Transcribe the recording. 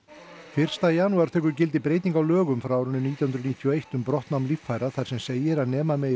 fyrsta janúar tekur gildi breyting á lögum frá árinu nítján hundruð níutíu og eitt um brottnám líffæra þar sem segir að nema megi